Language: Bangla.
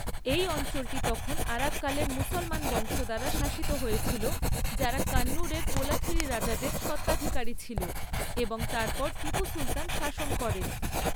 এই অঞ্চলটি তখন আরাক্কালের মুসলমান বংশ দ্বারা শাসিত হয়েছিল, যারা কান্নুরের কোলাথিরি রাজাদের স্বত্বাধিকারী ছিল এবং তারপর টিপু সুলতান শাসন করেন।